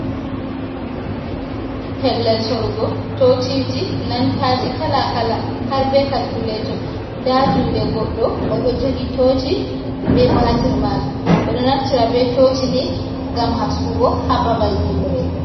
Pellel sorugo tociji, lantaji kala-kala har be kalkuleto. Nda juuɗe goɗɗo o ɗo jogi toci be batir majum. Ɓe ɗo naftira be toci nii ngam haskugo haa babal nyimre.